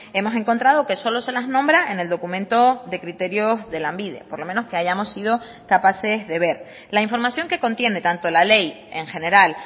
hemos encontrado que solo se las nombra en el documento de criterios de lanbide por lo menos que hayamos sido capaces de ver la información que contiene tanto la ley en general